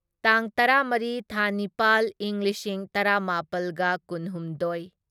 ꯇꯥꯡ ꯇꯔꯥꯃꯔꯤ ꯊꯥ ꯅꯤꯄꯥꯜ ꯢꯪ ꯂꯤꯁꯤꯡ ꯇꯔꯥꯃꯥꯄꯜꯒ ꯀꯨꯟꯍꯨꯝꯗꯣꯢ